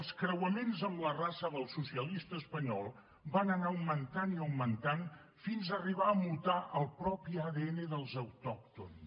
els creuaments amb la raça del socialista espanyol van anar augmentant i augmentant fins arribar a mutar el propi adn dels autòctons